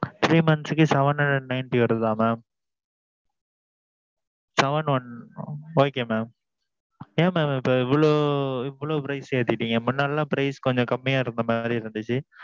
three months க்கு seven hundred and ninety வருதா mam? seven one. okay mam. ஏன் mam இப்ப இவ்வளவு இவ்வளவு price ஏத்திட்டீங்க. முன்னெல்லாம் price கொஞ்சம் கம்மியா இருந்த மாதிரி இருந்திச்சு.